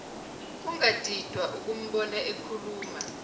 ungadidwa ukumbona ekhuluma